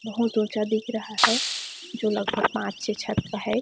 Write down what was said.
बहुत ऊँचा दिख रहा है जो लगभग पाँच छे छत का है।